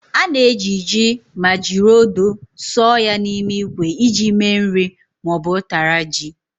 Ana esi ji ma jiri odo sọọ ya n'ime ikwe iji me nri ma ọ bu ụtara ji.